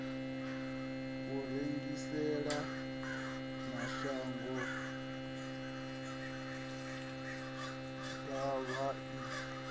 u rengisela mashango ḓavha i